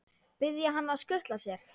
Biðja hann að skutla sér?